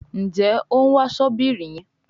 Njé òún wá Ṣọ́bìrì yén?